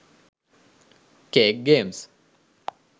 cake games